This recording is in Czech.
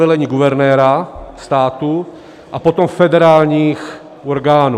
Velení guvernéra státu a potom federálních orgánů.